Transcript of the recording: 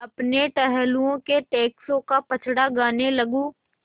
अपने टहलुओं के टैक्सों का पचड़ा गाने लगूँ